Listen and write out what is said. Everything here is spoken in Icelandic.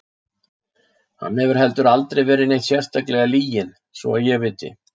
Hann hefur heldur aldrei verið neitt sérstaklega lyginn svo ég viti til.